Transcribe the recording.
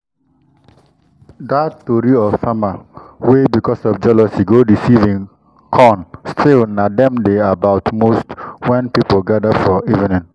d koko farm wey dey back of our caban carry secrit wey na only breeze fit get mind to show am